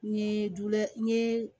N ye dulɛ n ye